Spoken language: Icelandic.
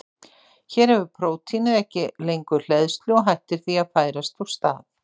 Hér hefur prótínið ekki lengur hleðslu og hættir því að færast úr stað.